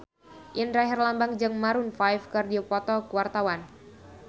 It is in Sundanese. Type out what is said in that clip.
Indra Herlambang jeung Maroon 5 keur dipoto ku wartawan